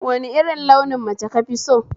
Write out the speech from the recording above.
Wani irin launin mace kafi so?